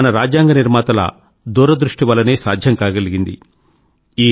ఇది మన రాజ్యాంగ నిర్మాతల దూరదృష్టి వల్లనే సాధ్యం కాగలిగింది